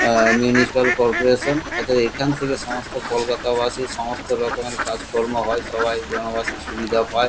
অ্যা municipal corporation অতএব এখান থেকে সমস্ত কলকাতাবাসি সমস্ত রকমের কাজকর্ম হয় সবাই জনবাসী সুবিধে পায়।